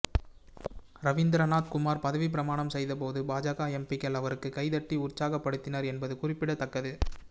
ரவீந்த்ரநாத் குமார் பதவிப்பிரமாணம் செய்தபோது பாஜக எம்பிக்கள் அவருக்கு கைதட்டி உற்சாகப்படுத்தினர் என்பது குறிப்பிடத்தக்கது